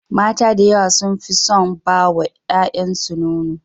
Mata da yawa sun fi son ba wa yayansu nono.